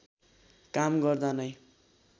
काम गर्दा नै